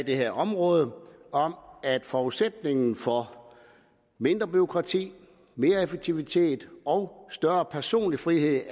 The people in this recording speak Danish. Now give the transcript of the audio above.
det her område at forudsætningen for mindre bureaukrati mere effektivitet og større personlig frihed